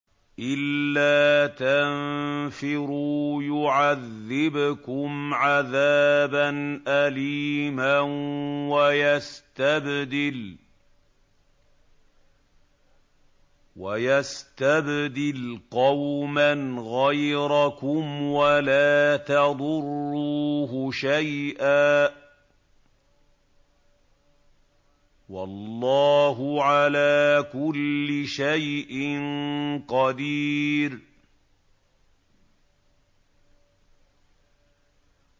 إِلَّا تَنفِرُوا يُعَذِّبْكُمْ عَذَابًا أَلِيمًا وَيَسْتَبْدِلْ قَوْمًا غَيْرَكُمْ وَلَا تَضُرُّوهُ شَيْئًا ۗ وَاللَّهُ عَلَىٰ كُلِّ شَيْءٍ قَدِيرٌ